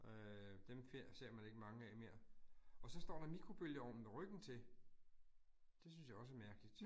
Øh dem ser man ikke mange af mere. Og så står der mikrobølgeovnen med ryggen til. Det synes jeg også er mærkeligt